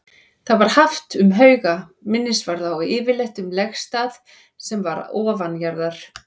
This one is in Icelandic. Það var haft um hauga, minnisvarða og yfirleitt um legstað sem var ofanjarðar.